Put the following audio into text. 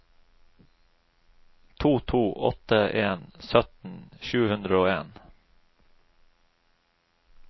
to to åtte en sytten sju hundre og en